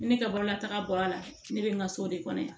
Ni ne ka baara la taga bɔra a la ne bɛ n ka so de kɔnɔ yan